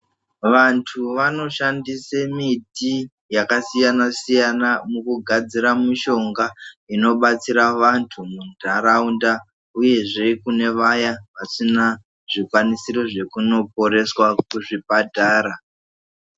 Vantu vanoshandisa miti yakasiyana siyana mukugadzira mishonga inobatsira vantu mundaraunda uyezve kune Vaya vasina zvikwanisiro zvekunokoreswa kuzvipatara.